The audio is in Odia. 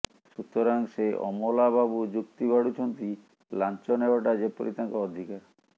ସୁତରାଂ ସେ ଅମଲା ବାବୁ ଯୁକ୍ତି ବାଢୁଛନ୍ତି ଲାଞ୍ଚ ନେବାଟା ଯେପରି ତାଙ୍କ ଅଧିକାର